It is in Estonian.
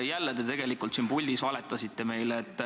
Jälle te tegelikult siin puldis valetasite meile.